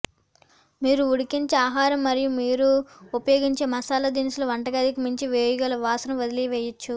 మీరు ఉడికించే ఆహారం మరియు మీరు ఉపయోగించే మసాలా దినుసులు వంటగదికి మించి వేయగల వాసన వదిలివేయవచ్చు